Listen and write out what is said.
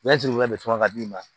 Ne sigilen bɛ sama ka d'i ma